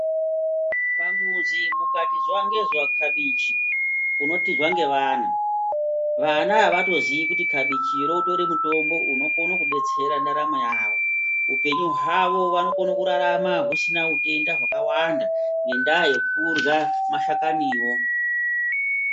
Pamuzi mukati zuwa ngezuwa kabichi unotizwa ngevana, vana avatozii kuti kabichiro utori mutombo unokona kudetsera ndaramo yavo, upenyu hwavo wavanokone kurarama husina utenda hwakawanda ngenda yekutya mashakaniwo.